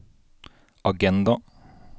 agenda